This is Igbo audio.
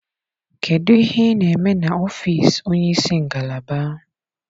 Kedụ ihe ị na-eme n'ọfiisi onye isi ngalaba?